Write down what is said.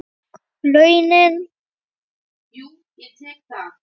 Og launin?